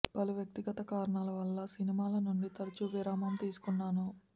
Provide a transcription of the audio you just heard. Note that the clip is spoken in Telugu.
పలు వ్యక్తిగత కారణాల వల్ల సినిమాల నుంచి తరచూ విరామం తీసుకున్నాను